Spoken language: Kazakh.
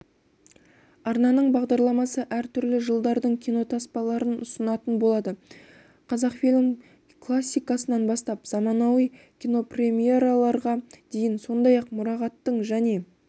арнаның бағдарламасы әртүрлі жылдардың кинотаспаларын ұсынатын болады қазақфильм классикасынан бастап заманауи кинопремьераларға дейін сондай-ақ мұрағаттық және